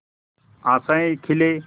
आशाएं खिले